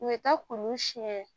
U bɛ taa kuru siɲɛ